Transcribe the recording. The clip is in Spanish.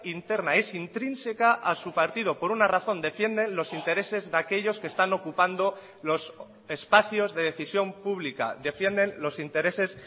interna es intrínseca a su partido por una razón defienden los intereses de aquellos que están ocupando los espacios de decisión pública defienden los intereses